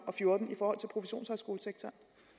og fjorten